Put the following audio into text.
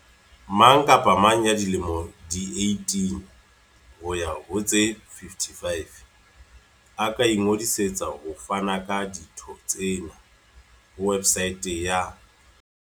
Mang kapa mang ya dilemo di 18 ho ya ho tse 55 a ka ingodisetsa ho fana ka ditho tsena ho websaete ya